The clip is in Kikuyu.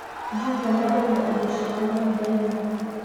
Jumia mendagia indo ciao nenda-inĩ.